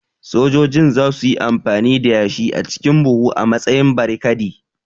Sojojin za su yi amfani da yashi a cikin buhu a matsayin barikadi